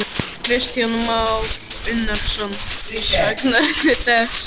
Kristján Már Unnarsson: Saknarðu þess?